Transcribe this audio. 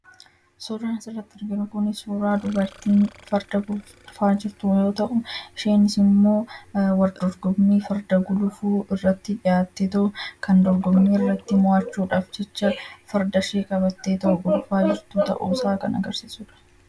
Suuraan asitti argaa jirru suuraa dubartiin Farda guluftu yoo ta'u, kunis immoo wal dorgommii farda gulufuu irratti dhiyaatteetu kan dorgommii irratti mo'achuudhaaf jecha Fardashee qabattee gulufaa jirtu ta'uusaa kan agarsiisudha.